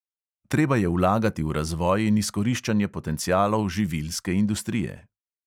Treba je vlagati v razvoj in izkoriščanje potencialov živilske industrije.